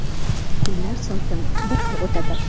Kunlar sokin, bir xil o‘tadi.